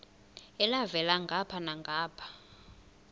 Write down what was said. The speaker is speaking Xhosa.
elhavela ngapha nangapha